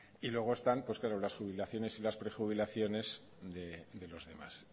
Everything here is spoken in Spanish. y luego están las jubilaciones y las prejubilaciones de los demás